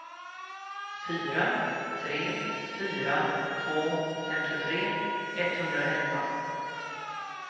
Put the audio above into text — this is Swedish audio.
fyra tre fyra två femtiotre etthundraelva